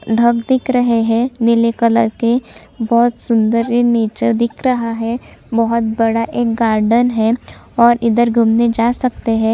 ढक दिख रहे है नीले कलर के भोत सुन्दर ये नेचर दिख रहा है भोत बड़ा एक गार्डन है और इधर घूमने जा सकते है ।